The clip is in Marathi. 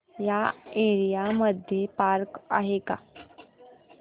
या एरिया मध्ये पार्क आहे का